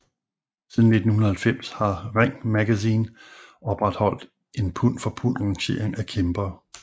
Siden 1990 har Ring Magazine opretholdt en pund for pund rangering af kæmpere